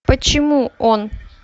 почему он